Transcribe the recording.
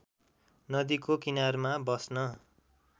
नदीको किनारमा बस्न